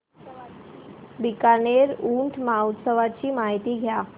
बीकानेर ऊंट महोत्सवाची माहिती द्या